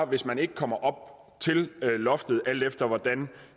hvis man ikke kommer til loftet alt efter hvordan